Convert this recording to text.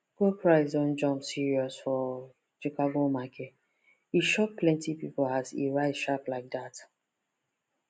gold price don jump serious for chicago market e shock plenty people as e rise sharp like that